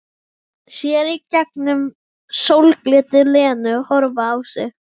Sér í gegnum sólglitið Lenu horfa á sig.